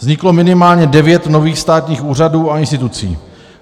Vzniklo minimálně 9 nových státních úřadů a institucí.